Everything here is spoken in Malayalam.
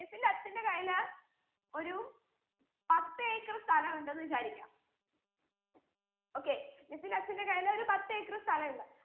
miss ന്റെ അച്ഛന്റെ കയ്യില് ഒരു പത്ത് acre സ്ഥലം ഉണ്ടെന്ന് വിചാരിക്ക okay miss ന്റെ അച്ഛന്റ്റെ കയ്യിലൊരു പത്ത് acre സ്ഥലം ഉണ്ട്